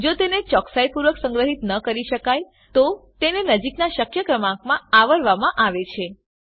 જો તેને ચોકસાઈપૂર્વક સંગ્રહીત ન કરી શકાય તો તેને નજીકનાં શક્ય ક્રમાંકમાં આવરવામાં આવે છે